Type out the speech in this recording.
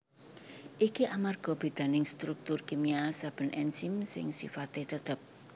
Iki amarga bédaning struktur kimia saben enzim sing sifaté tetep